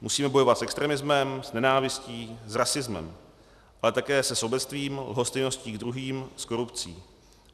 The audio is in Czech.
Musíme bojovat s extremismem, s nenávistí, s rasismem, ale také se sobectvím, lhostejností k druhým, s korupcí.